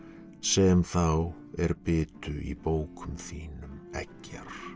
sem þá er bitu í bókum þínum eggjar